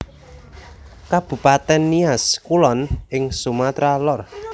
Kabupatèn Nias Kulon ing Sumatra Lor